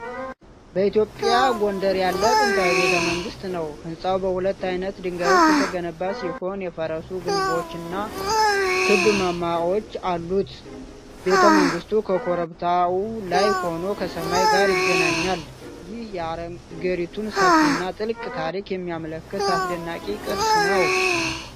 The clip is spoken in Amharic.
በኢትዮጵያ ጎንደር ያለ ጥንታዊ ቤተ መንግሥት ነው። ሕንፃው በሁለት ዓይነት ድንጋዮች የተገነባ ሲሆን፣ የፈረሱ ግንቦችና ክብ ማማዎች አሉት። ቤተ መንግሥቱ ከኮረብታው ላይ ሆኖ ከሰማይ ጋር ይገናኛል። ይህም የአገሪቱን ሰፊና ጥልቅ ታሪክ የሚያመለክት አስደናቂ ቅርስ ነው።